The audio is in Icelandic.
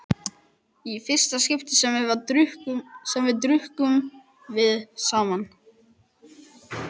Í fyrsta skipti sem við drukkum, drukkum við saman.